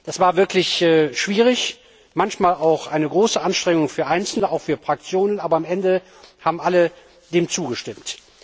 Das war wirklich schwierig, manchmal auch eine große Anstrengung für Einzelne auch für Fraktionen aber am Ende haben dem alle zugestimmt.